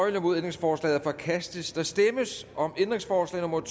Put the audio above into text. ændringsforslaget er forkastet der stemmes om ændringsforslag nummer